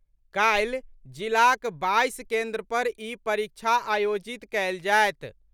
काल्हि जिलाक बाईस केन्द्र पर ई परीक्षा आयोजित कयल जायत।